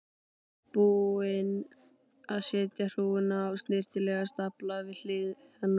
Búinn að setja hrúguna í snyrtilegan stafla við hlið hennar.